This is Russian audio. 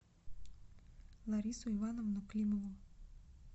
ларису ивановну климову